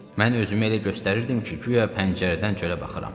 Mən özümü elə göstərirdim ki, guya pəncərədən çölə baxıram.